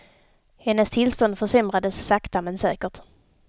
Hennes tillstånd försämrades sakta men säkert.